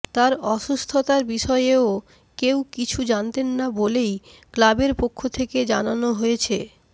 তার অসুস্থতার বিষয়েও কেউ কিছু জানতেন না বলেই ক্লাবের পক্ষ থেকে জানানো হয়েছে